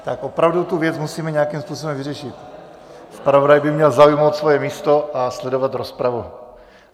Tak opravdu tu věc musíme nějakým způsobem vyřešit, zpravodaj by měl zaujmout svoje místo a sledovat rozpravu.